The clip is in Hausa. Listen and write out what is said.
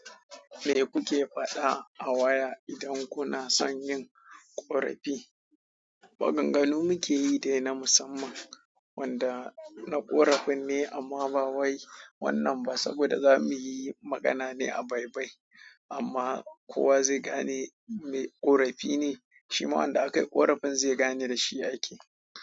Me kuke faɗa a waya idan kuna son yin ƙorafi? Waƙan ganu muke yi dai na musamman wanda na ƙorafin ne amma ba wai wannan ba saboda za mu yi magana ne a baibai amma kowa zai gane me ƙorafi ne. Shi ma wanda ake korafin zai gane da shi ake yi.